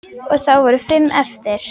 Og þá voru eftir fimm.